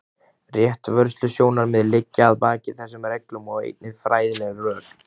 Réttarvörslusjónarmið liggja að baki þessum reglum og einnig fræðileg rök.